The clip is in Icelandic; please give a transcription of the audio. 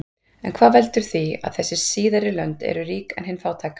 En hvað veldur því að þessi síðari lönd eru rík en hin fátæk?